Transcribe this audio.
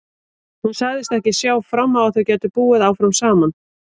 Hún sagðist ekki sjá fram á að þau gætu búið áfram saman.